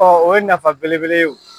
o ye nafa belebele ye o.